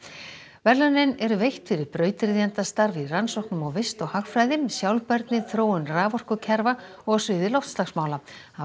verðlaunin eru veitt fyrir brautryðjendastarf í rannsóknum á vist og hagfræði sjálfbærni þróun raforkukerfa og á sviði loftslagsmála